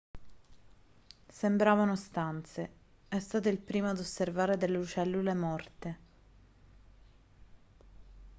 sembravano stanze è stato il primo ad osservare delle cellule morte